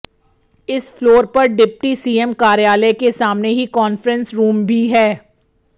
इस फ्लोर पर deputy CM कार्यालय के सामने ही कान्फ्रेंस रूम भी है